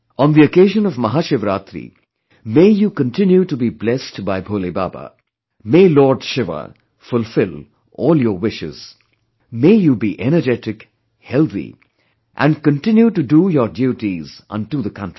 On the occasion of Mahashivaratri, may you continue to be blessed by Bhole baba...may Lord Shiva fulfill all your wishes...may you be energetic, healthy...and continue to do your duties unto the country